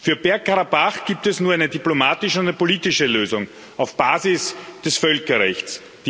Für Bergkarabach gibt es nur eine diplomatische und eine politische Lösung auf Basis des Völkerrechts.